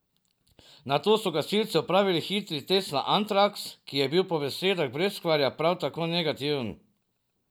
Nato so gasilci opravili hitri test na antraks, ki je bil po besedah Breskvarja prav tako negativen.